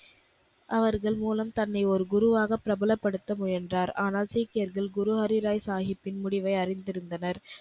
அவர்கள் மூலம் தன்னை ஒரு குருவாக பிரபலப்படுத்த முயன்றார். ஆனால் சீக்கியர்கள் குரு ஹரிராய் சாகிப்பின் முடிவை அறிந்திருந்தனர்.